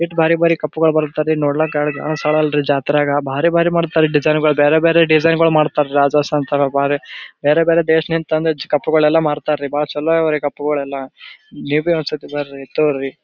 It ಬ್ಯಾರೆ ಬ್ಯಾರೆ cup ಗಳು ಬರುತ್ತದೆ ನೋಡ್ಲಾಕ ಎರಡು ಕಣ್ಣ ಸಾಲಲ ಜಾತ್ರೆಗ ಬಾರಿ ಬಾರಿ ಡಿಸೈನ್ ಗಳು ಬೇರೆ ಬೇರೆ ಡಿಸೈನ್ ಎಲ್ಲ ಮಾಡ್ತಾರೆ ಬೇರೆ ಬೇರೆ ದೇಶದಿಂದ ತಂದು ಕಪ್ ಮಾರ್ತಾರ ಮಾಡ್ತಾರೆ ಚಲೋ ಅದ ಕಪ್ ಗಳೆಲ್ಲ ನೀವು ಒಂದ್ಸಲ ಬರ್ರಿ ತೊಗೋರೀ.